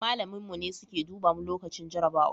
malamin mu ne suke duba mu lokacin jarabawa